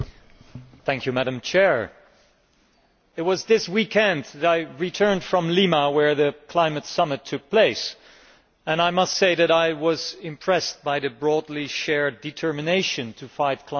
Madam President, it was this weekend that I returned from Lima where the climate summit took place, and I must say that I was impressed by the broadly shared determination to fight climate change.